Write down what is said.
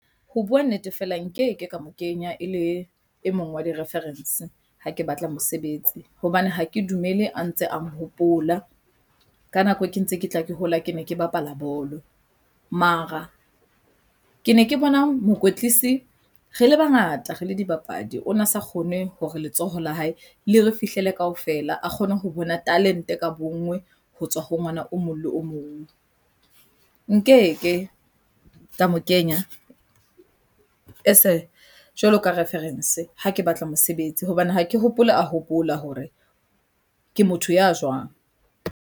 Ho buwa nnete fela nkeke ka mo kenya e le e mong wa di reference ha ke batla mosebetsi hobane ha ke dumele a ntse a hopola ka nako ke ntse ke tla ke hola. Ke ne ke bapala bolo mara ke ne ke bona mokwetlisi re le bangata re le dibapadi ona sa kgone hore letsoho la hae le re fihlile kaofela a kgone ho bona talente ka bonngwe ho tswa ho ngwana o mong le o mong, nkeke ka mo kenya as jwalo ka reference ha ke batla mosebetsi hobane ha ke hopole a hopola hore ke motho ya jwang.